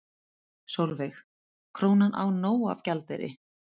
Sólveig: Krónan á nóg af gjaldeyri?